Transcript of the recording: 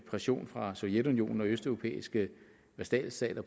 pression fra sovjetunionen og østeuropæiske vasalstater